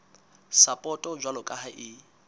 sapoto jwalo ka ha e